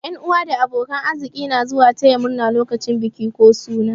Yan'uwa da abokan arziki na zuwa taya murna lokacin biki ko suna.